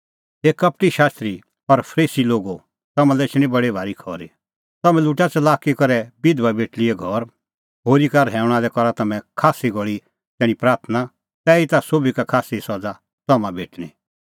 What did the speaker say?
हे कपटी शास्त्री फरीसी लोगो तम्हां लै एछणी बडी भारी खरी तम्हैं लुटा च़लाकी करै बिधबा बेटल़ीए घर होरी का रहैऊंणा लै करा तम्हैं खास्सी घल़ी तैणीं प्राथणां तैहीता सोभी का खास्सी सज़ा तम्हां भेटणीं